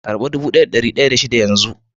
karba dubu daya da dari daya da shida yanzun.